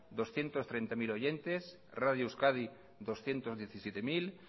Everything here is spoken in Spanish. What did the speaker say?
doscientos treinta mil oyentes radio euskadi doscientos diecisiete mil